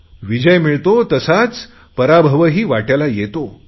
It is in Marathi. विजय मिळतोच तसाच पराभवही वाटयाला येतो